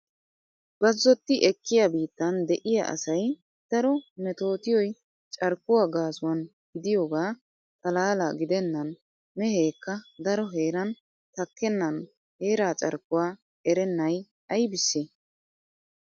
Bazzotti ekkiya biittan de'iya asay daro metootiyoy carkkuwa gassuwan gidiyooga xallala gidennan mehekka daro heeran takkennan heraa carkkuwa erennay aybisse?